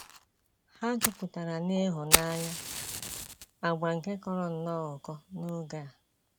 Ha jupụtara n’ịhụnanya — àgwà nke kọrọ nnọọ ụkọ n’oge a.